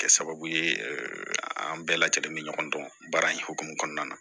Kɛ sababu ye an bɛɛ lajɛlen bɛ ɲɔgɔn dɔn baara in hokumu kɔnɔna na